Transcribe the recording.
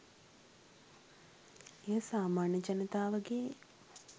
එය සාමාන්‍ය ජනතාවගේ